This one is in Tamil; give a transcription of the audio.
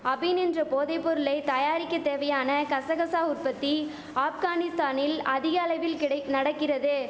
அபின் என்ற போதை பொருளை தயாரிக்க தேவையான கசகசா உற்பத்தி ஆப்கானிஸ்தானில் அதிகளவில் கிடைக் நடக்கிறது